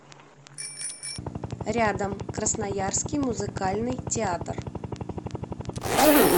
рядом красноярский музыкальный театр